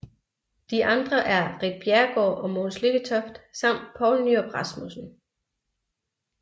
De andre er Ritt Bjerregaard og Mogens Lykketoft samt Poul Nyrup Rasmussen